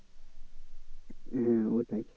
হ্যাঁ ওটাই।